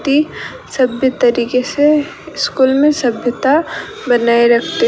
की सभ्य तरीके से स्कूल में सभ्यता बनाए रखते --